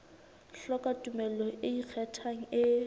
hloka tumello e ikgethang e